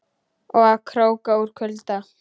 Og að krókna úr kulda.